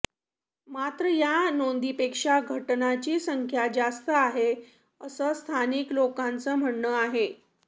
मात्र या नोंदींपेक्षा घटनांची संख्या जास्त आहे असं स्थानिक लोकांचं म्हणणं आहे